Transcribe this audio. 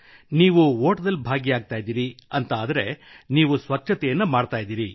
ನೀವು ಓಟದಲ್ಲಿ ಭಾಗಿಯಾಗುತ್ತಿದ್ದೀರಿ ಎಂದಾದರೆ ನೀವು ಸ್ವಚ್ಛತೆಯನ್ನೂ ಮಾಡುತ್ತಿದ್ದೀರಿ